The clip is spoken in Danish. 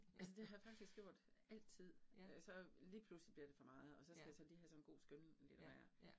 Altså det har jeg faktisk også gjort altid, øh så lige pludselig bliver det for meget, og så skal jeg så lige have sådan en god skønlitterær